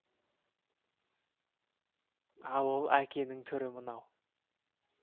ал ол әкенің түрі мынау